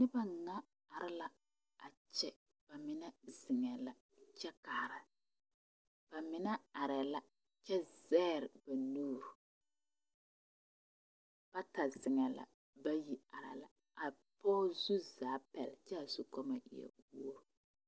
Noba na are la a kyɛ ba mine zeŋɛɛ la kyɛ kaara ba mine arɛɛ la kyɛ zegre ba nuuri bata zeŋɛɛ la ba bayi arɛɛa pɔge zu zaaŋ kyɛ a zukɔɔloŋ e wogri.